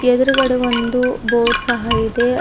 ಎದುರುಗಡೆ ಒಂದು ಬೋರ್ಡ್ ಸಹ ಇದೆ.